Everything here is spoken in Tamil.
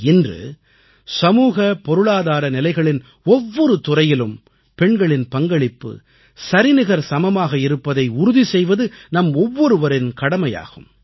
இன்று சமூக பொருளாதார நிலைகளின் ஒவ்வொரு துறையிலும் பெண்களின் பங்களிப்பு சரிநிகர் சமமாக இருப்பதை உறுதி செய்வது நம் ஒவ்வொருவரின் கடமையாகும்